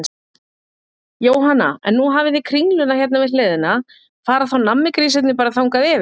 Jóhanna: En nú hafið þið Kringluna hérna við hliðina, fara þá nammigrísirnir bara þangað yfir?